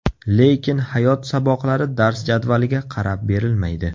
Lekin hayot saboqlari dars jadvaliga qarab berilmaydi.